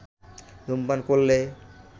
ধূমপান করলে